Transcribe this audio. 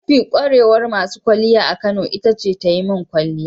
Mafi kwarewar masu kwalliya a Kano ita ce ta yi min kwalliya.